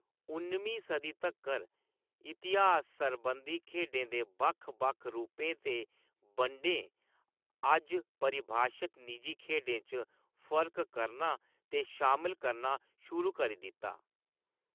उन्नमीं सदी तक्कर, इतिहास सरबंधी खेढें दे बक्ख-बक्ख रूपें ते बंडें अज्ज परिभाशत निजी खेढें च फर्क करना ते शामल करना शुरू करी दित्ता।